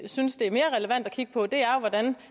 synes det er mere relevant at kigge på det er hvordan